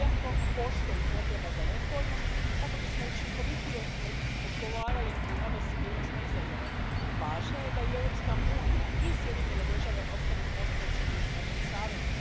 Iako postoji potreba za reformom kako bismo učinkovitije odgovarali na nove sigurnosne izazove, važno je da i Europska unija i Sjedinjene Države ostanu posvećeni ovom savezu.